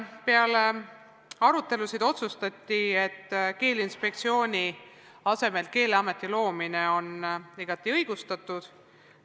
Peale arutelusid otsustati ühiselt, et Keeleinspektsiooni asemele Keeleameti loomine on igati õigustatud.